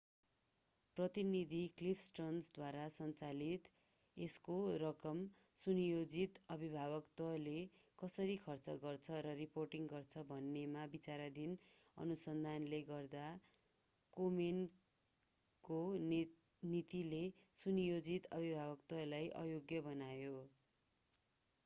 प्रतिनिधि क्लिफ स्टर्न्सद्वारा सञ्चालित यसको रकम सुनियोजित अभिभावकत्वले कसरी खर्च गर्छ र रिपोर्ट गर्छ भन्नेमा विचाराधीन अनुसन्धानले गर्दा कोमेनको नीतिले सुनियोजित अभिभावकत्वलाई अयोग्य बनायो